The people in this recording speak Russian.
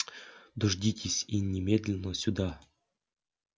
дождитесь и немедленно сюда